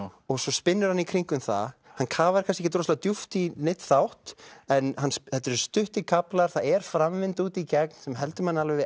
og svo spinnur hann í kringum það hann kafar kannski ekki djúpt í neinn þátt en þetta eru stuttir kaflar það er framvinda alveg út í gegn sem heldur manni við